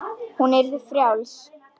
Hún yrði frjáls.